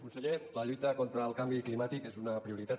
conseller la lluita contra el canvi climàtic és una prioritat